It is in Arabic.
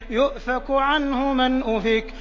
يُؤْفَكُ عَنْهُ مَنْ أُفِكَ